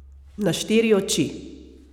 Na štiri oči.